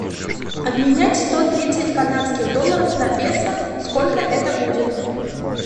обменять сто тридцать канадских долларов на песо сколько это будет